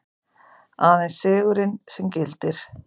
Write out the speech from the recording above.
Aðeins sigurinn sem gildir.